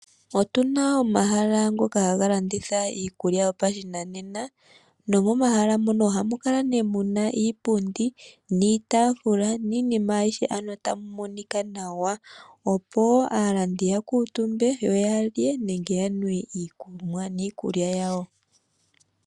Otuna omahala ngoka haga landitha iikulya yopashinanena, nomomahala moka oha mu kala nee muna iipundi, niitaafula, niinima ayihe. Ano tamu monika nawa, opo aalandi yakuutumbe yo ya lye nenge yanwe iikunwa niikulya yawo.